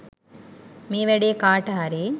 මේ වැඩේ කාට හරි